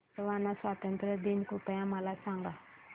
Botswana स्वातंत्र्य दिन कृपया मला सांगा